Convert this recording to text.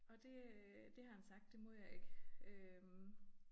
Og det øh det har han sagt det må jeg ikke. Øh